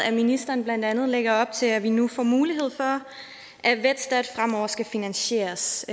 at ministeren blandt andet lægger op til at vi i nu får mulighed for at vetstat fremover skal finansieres